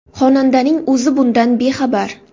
Xonandaning o‘zi bundan bexabar.